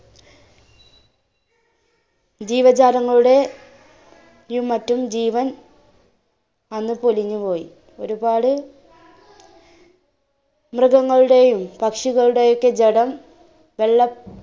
ജീവജാലങ്ങളുടെ യും മറ്റും ജീവൻ അന്ന് പൊലിഞ്ഞുപോയി ഒരുപാട് മൃഗങ്ങളുടെയും പക്ഷികളുടെയും ഒക്കെ ജഡം വെള്ളം